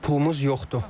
Pulumuz yoxdur.